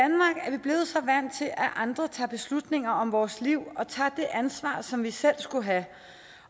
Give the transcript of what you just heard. andre tager beslutninger om vores liv og tager det ansvar som vi selv skulle have